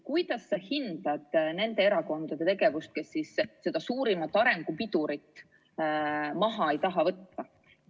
Kuidas sa hindad nende erakondade tegevust, kes seda suurimat arengu pidurit maha ei taha võtta?